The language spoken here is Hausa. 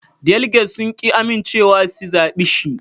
Daliget sun ƙi amincewa si zabe shi